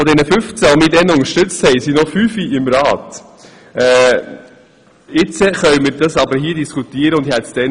Von diesen 15, die meinen Vorstoss unterstützt haben, sind heute noch fünf im Grossen Rat dabei.